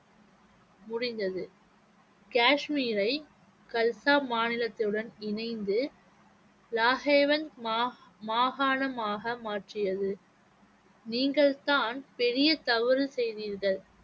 முடிந்தது காஷ்மீரை கல்சா மாநிலத்துடன் இணைந்து மாகா~ மாகாணமாக மாற்றியது நீங்கள்தான் பெரிய தவறு செய்தீர்கள்